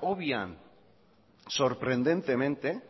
obvian sorprendentemente